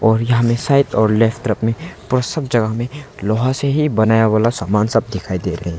और यहां में साइड और लेफ्ट तरफ में और सब जगह में लोहा से ही बनाया वाला सामान सब दिखाई दे रहे है।